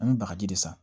An bɛ bagaji de san